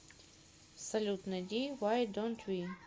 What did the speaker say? салют найди вай донт ви